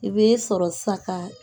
I bɛ' sɔrɔ ssisan ka